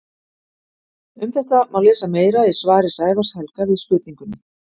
Um þetta má lesa meira í svari Sævars Helga við spurningunni: